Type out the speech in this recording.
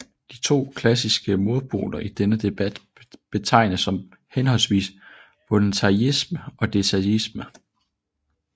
De to klassiske modpoler i denne debat betegnes som henholdsvis voluntaryisme og determinisme